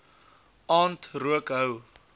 aand rook hou